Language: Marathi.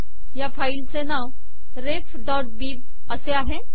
या फाईल चे नाव refबिब असे आहे